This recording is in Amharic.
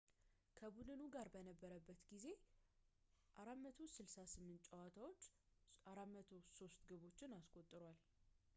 ከቡድኑ ጋር በነበረበት ጊዜ በ 468 ጨዋታዎች 403 ግቦችን አስቆጥሯል